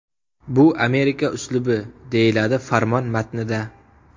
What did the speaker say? Bu Amerika uslubi”, – deyiladi farmon matnida.